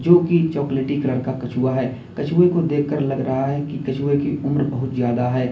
जोकि chocolatey colour का कछुआ है कछुए को देखकर लग रहा है कि कछुए की उम्र बहुत ज्यादा है।